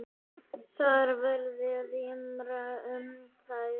Þar verði rýmra um þær.